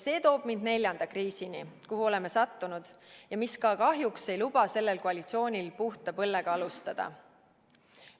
See toob mind neljanda kriisini, kuhu oleme sattunud ja mis kahjuks ei luba sellel koalitsioonil puhta põllega alustada.